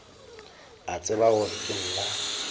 a tseba gore ke nna